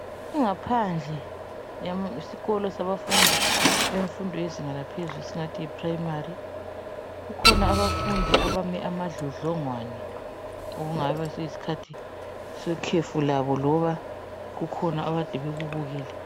Ingaphandle yam... sikolo sabafundi bemfundo yezinga laphezulu , (singathi yiprayimari), kukhona abafundi abame amadlodlongwane okungabe siyishathi sekhefu labo loba kukhona abade bekubukele.